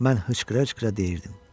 Mən hıçqıra-hıçqıra deyirdim: